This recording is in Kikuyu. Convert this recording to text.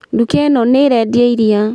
Nduka ĩno nĩĩrendia iria